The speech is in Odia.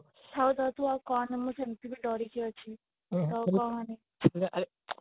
ଥାଉ ଥାଉ ତୁ ଆଉ କହନା ମୁଁ ଏମିତିରେ ଦରିକି ଅଛି ତୁ ଆଉ କହନି